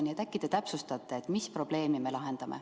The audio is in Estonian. Nii et äkki te täpsustate, mis probleemi me lahendame.